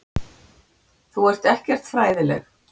Þú ert ekkert fræðileg.